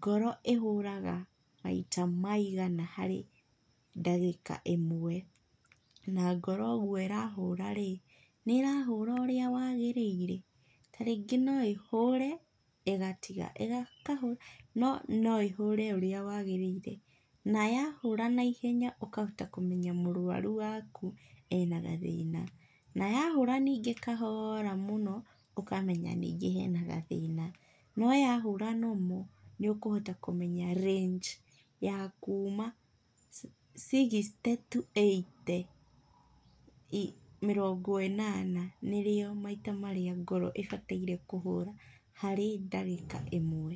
ngoro ĩhũraga maita maigana harĩ ndagĩka ĩmwe, na ngoro ũguo ĩrahũra rĩ, nĩ ĩrahũra ũrĩa wagĩrĩire? Ta rĩngĩ no ĩhũre, ĩgatiga, ĩkahũra, no no ĩhũre ũrĩa wagĩrĩire. Na yahũra naihenya, ũkahota kũmenya mũrũaru waku, ena gathĩna. Na yahũra ningĩ kahora mũno, ũkamenya ningĩ hena gathĩna. No yahũra normal, nĩũkũhota kũmeya range ya kuuma sixty to eighty, mĩrongo ĩnana, nĩrĩo maita marĩa ngoro ĩbataire kũhũra harĩ ndagĩka ĩmwe.